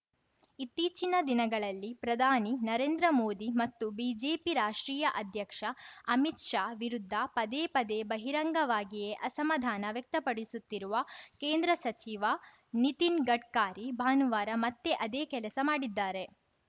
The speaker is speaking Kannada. ಇತ್ತೀಚಿನ ದಿನಗಳಲ್ಲಿ ಪ್ರಧಾನಿ ನರೇಂದ್ರ ಮೋದಿ ಮತ್ತು ಬಿಜೆಪಿ ರಾಷ್ಟ್ರೀಯ ಅಧ್ಯಕ್ಷ ಅಮಿತ್‌ ಶಾ ವಿರುದ್ಧ ಪದೇ ಪದೇ ಬಹಿರಂಗವಾಗಿಯೇ ಅಸಮಾಧಾನ ವ್ಯಕ್ತಪಡಿಸುತ್ತಿರುವ ಕೇಂದ್ರ ಸಚಿವ ನಿತಿನ್‌ ಗಡ್ಕಾರಿ ಭಾನುವಾರ ಮತ್ತೆ ಅದೇ ಕೆಲಸ ಮಾಡಿದ್ದಾರೆ